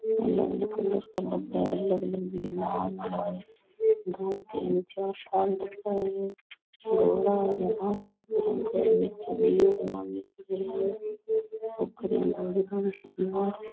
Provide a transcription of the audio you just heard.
अलग अलग कलर का डब्बा है अलग अलग दो तीन चार और बाहर --